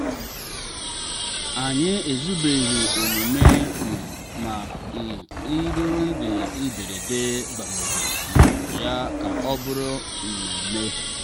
anyị ezubeghị emume um ma um ntụrụndụ mberede gbanwere um ya ka ọ bụrụ mmemme.